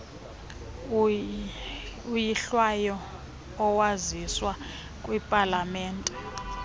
oyilwayo owaziswa kwipalamente